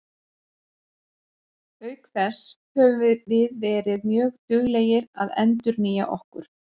Auk þess höfum við verið mjög duglegir að endurnýja okkur.